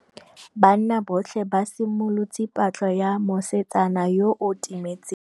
Banna botlhê ba simolotse patlô ya mosetsana yo o timetseng.